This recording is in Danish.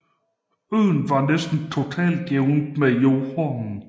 Øen var næsten totalt jævnet med jorden